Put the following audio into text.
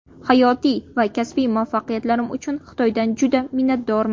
Hayotiy va kasbiy muvaffaqiyatlarim uchun Xitoydan juda minnatdorman!